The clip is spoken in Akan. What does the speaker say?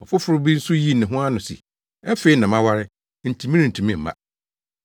“Ɔfoforo bi nso yii ne ho ano se, ‘Afei na maware, enti merentumi mma.’